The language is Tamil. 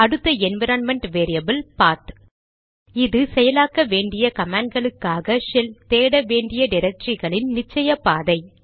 அடுத்த என்விரான்மென்ட் வேரியபில் பாத்PATH இது செயலாக்க வேண்டிய கமாண்ட்களுக்காக ஷெல் தேட வேண்டிய டிரக்டரிகளின் நிச்சய பாதை